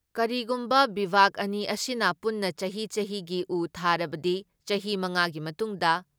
ꯀꯔꯤꯒꯨꯝꯕꯕ ꯕꯤꯚꯥꯒ ꯑꯅꯤ ꯑꯁꯤꯅ ꯄꯨꯟꯅ ꯆꯍꯤ ꯆꯍꯤꯒꯤ ꯎ ꯊꯥꯔꯕꯗꯤ ꯆꯍꯤ ꯃꯉꯥꯒꯤ ꯃꯇꯨꯡꯗ